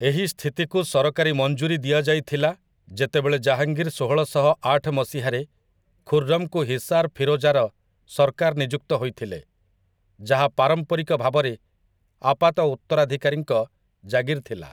ଏହି ସ୍ଥିତିକୁ ସରକାରୀ ମଞ୍ଜୁରୀ ଦିଆଯାଇଥିଲା ଯେତେବେଳେ ଜାହାଙ୍ଗୀର ଷୋହଳଶହଆଠ ମସିହାରେ ଖୁର୍‌ରମ୍‌ଙ୍କୁ ହିସାର୍ ଫିରୋଜାର ସର୍କାର ନିଯୁକ୍ତ ହୋଇଥିଲେ, ଯାହା ପାରମ୍ପାରିକ ଭାବରେ ଆପାତ ଉତ୍ତରାଧିକାରୀଙ୍କ ଜାଗିର୍ ଥିଲା ।